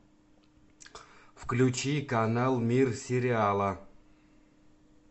включи канал мир сериала